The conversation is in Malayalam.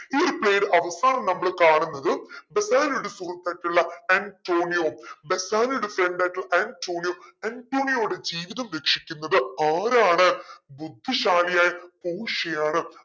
ഈ ഒരു play ടെ അവസാനം നമ്മൾ കാണുന്നത് ബെസാനിയോടെ സുഹൃത്തായിട്ടുള്ള അന്റോണിയോ ബെസാനിയോടെ friend ആയിട്ടുള്ള ആന്റോണിയോ ആന്റോണിയൊടെ ജീവിതം ആരാണ് ബുദ്ധിശാലിയായ പോഷിയ ആണ്